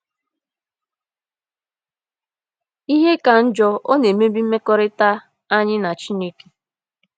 Ihe ka njọ, ọ na-emebi mmekọrịta anyị na Chineke.